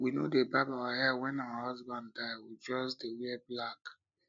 we no dey barb our hair wen our husband die we just dey wear black